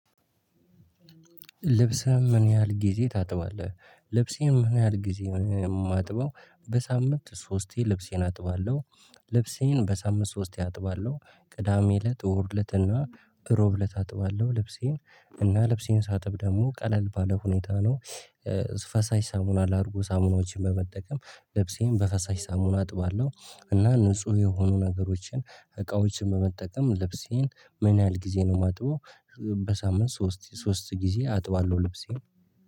ልብስህም ምን ያህል ጊዜ ታጥባለህ? ልብሴን ምን ያህል ጊዜ ነው የማጥበው በሳምንት ሶስቴ ልብሴን አጥባለሁ ልብሴን በሳምንት ሶስቴ አጥባለሁ ቅዳሜ ለት እሁድ ለትና እና ሮብ እለት አጥባለሁ ልብሴን እና ልብሴን ሳጥብ ደግሞ ቀለል ባለ ሁኔታ ነው ፈሳሽ ሳሙና ላድርጆ ሳሙናዎችን በመጠቀም ልብሴን በፈሳሽ ሳሙና አጥባለሁ እና ንጹህ የሆኑ ነገሮችን እቃዎችን በመጠቀም ልብሴን ምን ያህል ጊዜ ነው የማጥበው በሳምንት ሶስት ሶስት ጊዜ አጥባለሁ ልብሴን